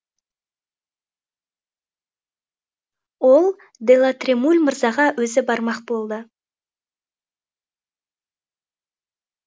ол де ла тремуль мырзаға өзі бармақ болды